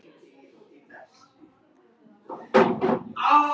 Æfið þið oft?